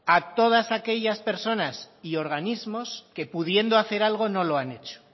a todas aquellas personas y organismos que pudiendo hacer algo no lo han hecho